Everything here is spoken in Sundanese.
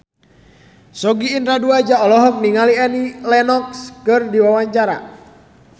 Sogi Indra Duaja olohok ningali Annie Lenox keur diwawancara